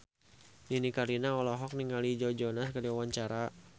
Nini Carlina olohok ningali Joe Jonas keur diwawancara